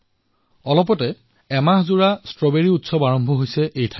কেইদিনমান পূৰ্বে ঝাঁচীত এমাহজুৰি সম্পন্ন হোৱা ষ্ট্ৰবেৰী উৎসৱ আৰম্ভ হৈছে